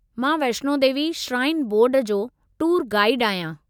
मां Vaishno Devi shrine board जो tour गाईडु आहियां।